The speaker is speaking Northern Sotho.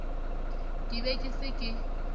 ke be ke se ke